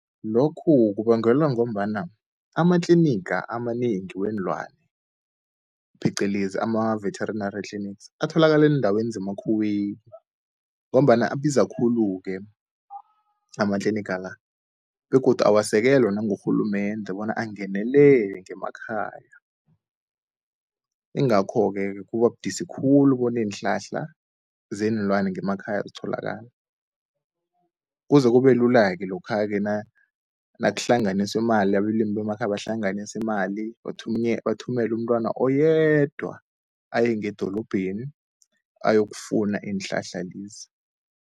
Lokhu kubangelwa ngombana amatliniga amanengi weenlwana phecelezi ama-veterenary clinics atholakala eendaweni zemakhuweni, ngombana abiza khulu-ke amatliniga la begodu awasekelwa nangurhulumende bona angenelele ngemakhaya. Ingakho-ke kuba budisi khulu bona iinhlahla zeenlwana ngemakhaya zitholakale, kuze kube lula-ke lokha-ke nakuhlanganiswa imali, abelimi bemakhaya bahlanganise imali bathumele umntwana oyedwa, aye ngedorobheni ayokufuna iinhlahla lezi.